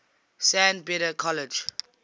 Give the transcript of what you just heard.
san beda college